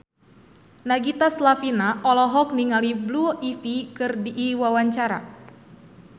Nagita Slavina olohok ningali Blue Ivy keur diwawancara